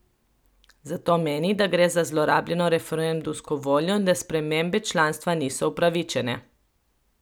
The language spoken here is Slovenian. Zato meni, da gre za zlorabljeno referendumsko voljo in da spremembe članstva niso upravičene.